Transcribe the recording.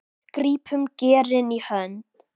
grípum geirinn í hönd